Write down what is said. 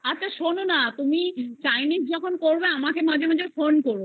আচ্ছা শোনো না তুমি chinese যখন করব আমাকে মাঝে মাঝে phone করো